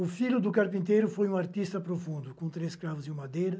O filho do carpinteiro foi um artista profundo, com três escravos e um madeiro.